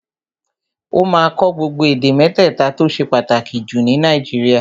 Ó máa kọ́ gbogbo èdè mẹ́tẹ̀ta tó ṣe pàtàkì jù ní Nàìjíríà